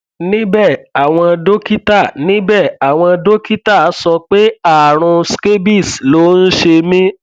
níbẹ àwọn dókítà níbẹ àwọn dókítà sọ pé ààrùn scabies ló ń ṣe mí